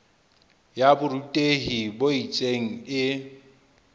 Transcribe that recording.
ya borutehi bo itseng e